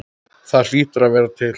Það hlýtur að vera til?